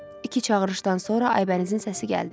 İki çağırışdan sonra Aybənizin səsi gəldi.